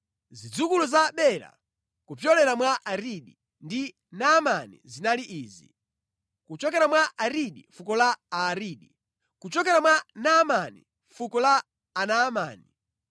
Zidzukulu za Bela kupyolera mwa Aridi ndi Naamani zinali izi: kuchokera mwa Aridi, fuko la Aaridi; kuchokera mwa Naamani, fuko la Anaamani;